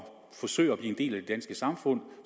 forsøger at blive en del af det danske samfund